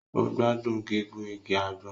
O gbádùn gígùn ìgi àgbon